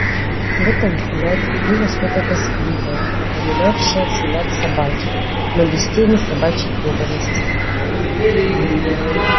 в этом взгляде было что-то тоскливое напоминавшее взгляд собаки но без тени собачьей преданности